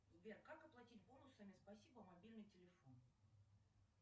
сбер как оплатить бонусами спасибо мобильный телефон